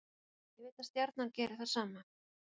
Ég veit að Stjarnan gerir það sama.